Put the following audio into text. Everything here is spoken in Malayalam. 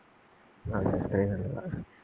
അതെ അത്രേം നല്ലതാ.